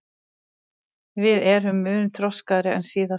Við erum mun þroskaðri en síðast